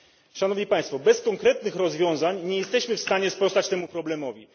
Szanowni Państwo bez konkretnych rozwiązań nie jesteśmy w stanie sprostać temu problemowi.